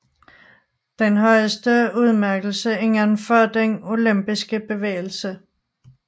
Den er den højeste udmærkelse indenfor den olympiske bevægelse